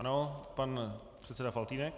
Ano, pan předseda Faltýnek.